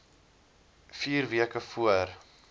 vier weke voor